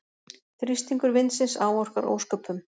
Þrýstingur vindsins áorkar ósköpum.